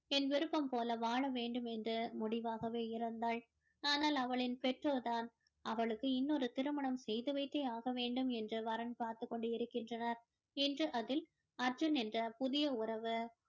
என் விருப்பம் போல வாழ வேண்டும் என்று முடிவாகவே இருந்தாள் ஆனால் அவளின் பெற்றோர் தான் அவளுக்கு இன்னொரு திருமணம் செய்து வைத்தே ஆக வேண்டும் என்று வரன் பார்த்துக் கொண்டு இருக்கின்றனர் இன்று அதில் அர்ஜுன் என்ற புதிய உறவு